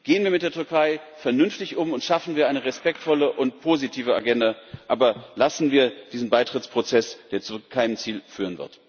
Gehen wir mit der Türkei vernünftig um und schaffen wir eine respektvolle und positive Agenda, aber lassen wir diesen Beitrittsprozess, der zu keinem Ziel führen wird.